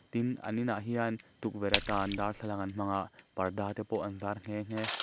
tin an inah hian tukverh atan darthlalang an hmang a parda te pawh an zar nghe nghe--